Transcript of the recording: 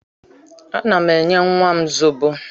Ana m enye nnwa m zobo